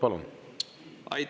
Palun!